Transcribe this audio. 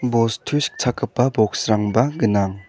bostu sikchakgipa boks rangba gnang.